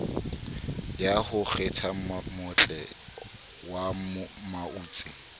ya ho kgethammabotle wa mautse